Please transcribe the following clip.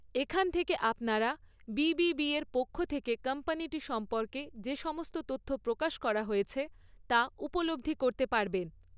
এখান থেকে আপনারা বি.বি.বির পক্ষ থেকে কোম্পানিটি সম্পর্কে যে সমস্ত তথ্য প্রকাশ করা হয়েছে, তা উপলব্ধি করতে পারবেন।